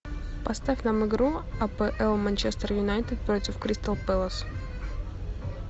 поставь нам игру апл манчестер юнайтед против кристал пэлас